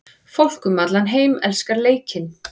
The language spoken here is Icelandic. Fólk um allan heim elskar leikinn.